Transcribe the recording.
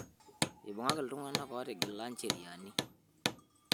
Eibungaki iltung'anak ootiga njeriani